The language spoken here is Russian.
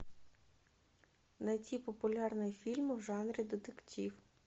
найти популярные фильмы в жанре детектив